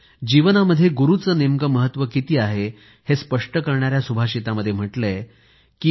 जीवनामध्ये गुरूचं नेमकं किती महत्व आहे हे स्पष्ट करणाऱ्या सुभाषितामध्ये म्हटलं आहे की